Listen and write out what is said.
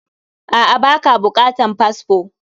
A,a, baka bukatan fasfo